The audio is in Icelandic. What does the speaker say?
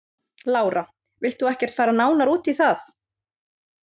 Lára: Vilt þú ekkert fara nánar út í það?